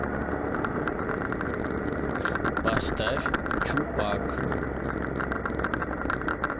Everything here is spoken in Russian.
поставь чупак